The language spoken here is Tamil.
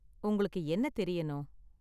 உங்களுக்கு என்ன தெரியணும்?